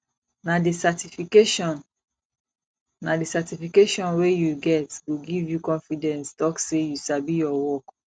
nah di certification nah di certification wey u get go give u confidence talk say you sabi ur work